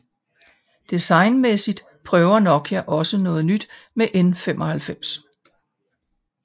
Designmæssigt prøver Nokia også noget nyt med N95